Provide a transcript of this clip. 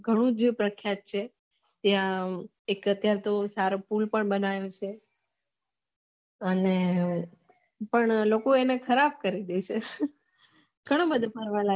ઘણું બધું ફરવા લાયક ઘણું જે પ્રત્યાખત છે ત્યાં એક સારંગપુર નું બનાયેલ છે અને પણ લોકો એને ખરાબ કરી દેસે